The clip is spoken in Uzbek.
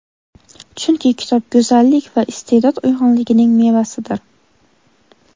Chunki kitob go‘zallik va iste’dod uyg‘unligining mevasidir.